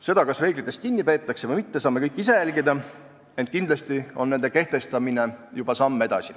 Seda, kas reeglitest kinni peetakse või mitte, saame kõik ise jälgida, ent kindlasti on nende kehtestamine juba samm edasi.